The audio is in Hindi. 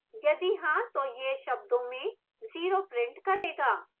यदि हाँ तो यह शब्दों में zero print करेगा